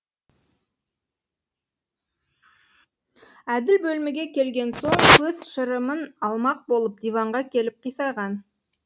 әділ бөлмеге келген соң көз шырымын алмақ болып диванға келіп қисайған